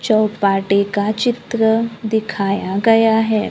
चौपाटी का चित्र दिखाया गया है।